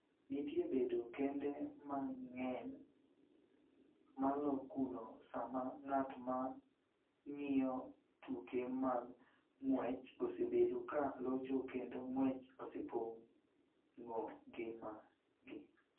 Nitie bedo kende mang�eny malo kuno sama ng�at ma ng�iyo tuke mag ng�wech osebedo ka locho kendo ng�wech osepong�o ngimagi.